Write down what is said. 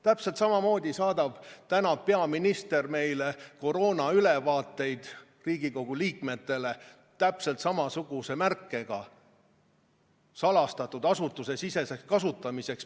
Täpselt samamoodi saadab peaminister praegu meile koroonaülevaateid, Riigikogu liikmetele, täpselt samasuguse märkega "Salastatud asutusesiseseks kasutamiseks".